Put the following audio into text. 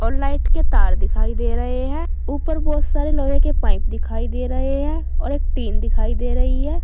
और लाइट के तार दिखाई दे रहे हैं ऊपर बहुत सारे लोहे के पाइप दिखाई दे रहे हैं और एक टीन दिखाई दे रही है।